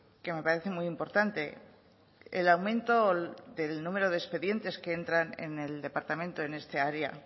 que me parece muy importante el aumento del número de expedientes que entran en el departamento en esta área